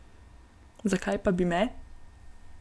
Zakaj pa bi me?